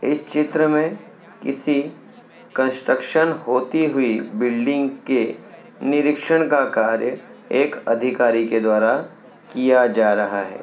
इस चित्र में किसी कंस्ट्रक्शन होती हुई बिल्डिंग के निरीक्षण का कार्य एक अधिकारी के द्वारा किया जा रहा है।